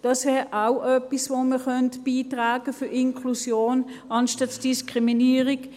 Das wäre auch etwas, das man zur Inklusion beitragen könnte anstatt Diskriminierung.